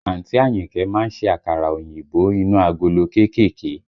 Àǹtí Àyìnkẹ́ má ń ṣe àkàrà òyìnbó inú agolo kéékèèké